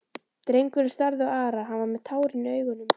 Drengurinn starði á Ara, hann var með tárin í augunum.